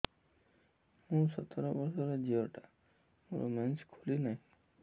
ମୁ ସତର ବର୍ଷର ଝିଅ ଟା ମୋର ମେନ୍ସେସ ଖୁଲି ନାହିଁ